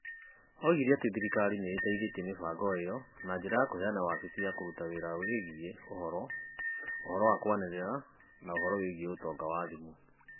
Oigire atĩ thirikari nĩ ĩteithĩtie mĩbango ĩyo na njĩra ya kũheana wabici ya kũruta wĩra ĩgiĩ ũhoro, ũhoro wa kwaranĩria, na ũhoro wĩgiĩ ũtonga wa thimũ.